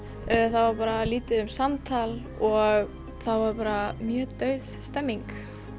það var lítið um samtal og það var bara mjög dauð stemmning